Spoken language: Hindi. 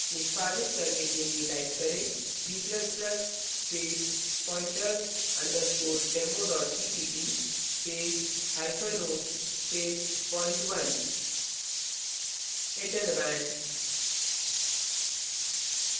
निष्पादित करने के लिए type करें g ++ space pointers _ demo cpp space hyphen o space point1 enter दबाएँ